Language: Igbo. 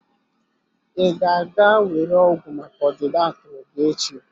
Ị ga-aga were ọgwụ maka ọdịda akụrụ gị echi?